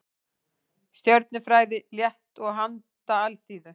Stjörnufræði, létt og handa alþýðu.